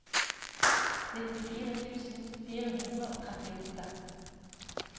nittifire tusen fire hundre og trettiåtte